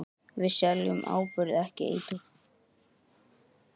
Við seljum áburð, ekki eitur.